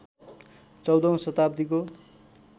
१४औं शताब्दीको